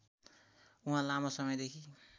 उहाँ लामो समयदेखि